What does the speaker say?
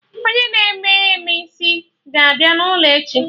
Onye na-eme eme isi ga-abịa n'ụlọ echi